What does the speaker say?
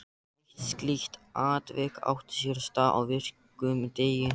Eitt slíkt atvik átti sér stað á virkum degi.